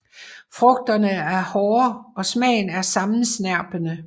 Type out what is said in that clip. Frugterne er hårde og smagen er sammensnerpende